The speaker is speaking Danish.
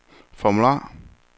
formular